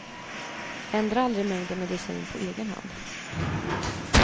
Ändra aldrig mängden medicin på egen hand.